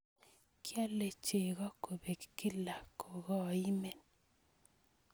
Kiole chego kobek kila ko koimen.